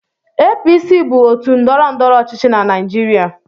APC bụ òtù ndọrọndọrọ ọchịchị na Naịjirịa.